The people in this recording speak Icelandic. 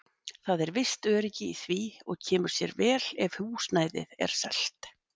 Það er visst öryggi í því og kemur sér vel ef húsnæðið er selt.